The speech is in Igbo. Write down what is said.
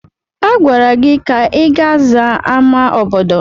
Agwara gị ka ị ga zaa ámá obodo!